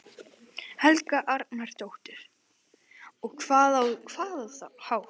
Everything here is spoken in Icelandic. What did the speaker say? Helga Arnardóttir: Og á hvaða hátt?